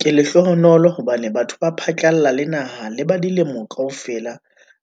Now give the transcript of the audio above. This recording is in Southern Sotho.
"Ke lehlohonolo hobane batho ho phatlalla le naha le ba dilemo kaofela